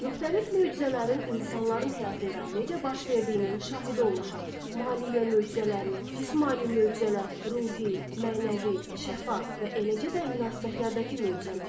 Müxtəlif möcüzələrin insanların həyatında necə baş verdiyinin şahidi olmuşam: maliyyə möcüzələri, cismani möcüzələr, ruhi, mənəvi, şəfa və eləcə də münasibətlərdəki möcüzələr.